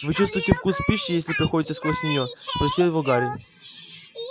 вы чувствуете вкус пищи если проходите сквозь нее спросил его гарри